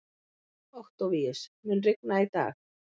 Októvíus, mun rigna í dag?